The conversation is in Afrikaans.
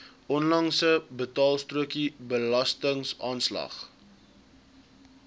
onlangse betaalstrokie belastingaanslag